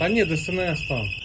Xeyr, SNS oradadır.